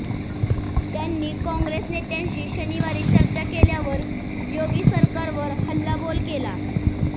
त्यांनी कॉंग्रेस नेत्यांशी शनिवारी चर्चा केल्यावर योगी सरकारवर हल्लाबोल केला